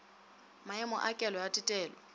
maemo a kelo a tetelo